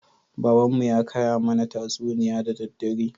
Baban mu ya kaya mana tatsuniya da daddare